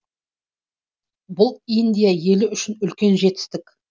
бұл индия елі үшін үлкен жетістік